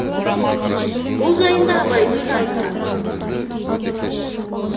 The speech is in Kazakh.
бұл жайында абайдың да айтқаны бар